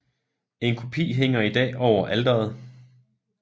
En kopi hænger i dag over alteret